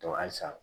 halisa